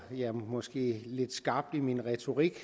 jeg måske lidt skarp i min retorik